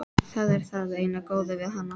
Það er það eina góða við hana.